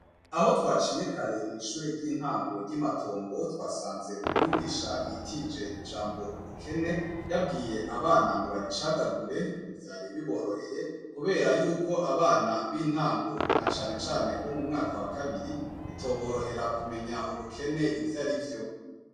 Aho twaciye kare kwishure ryintango imatongo twasanze umwigisha yitije ijambo ubukene yabwiye abana ngo baricagagure vyari biboroheye kubera yuko abana bintango cane cane bo mumwaka wa kabiri batomenye ubukene ivyarivyo